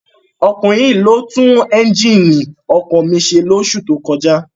Ọkunrin yii lo tun ẹnjínì ọkọ mi ṣe loṣu to kọja